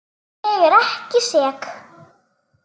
Ég er ekki sek.